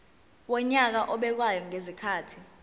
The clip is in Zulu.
wonyaka obekwayo ngezikhathi